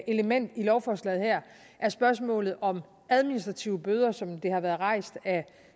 element i lovforslaget her er spørgsmålet om administrative bøder som det har været rejst af